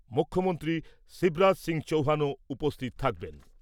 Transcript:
মুখ্যমন্ত্রী শিবরাজ সিং চৌহানও উপস্থিত থাকবেন ।